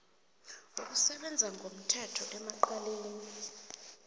wokusebenza ngomthetho emacaleni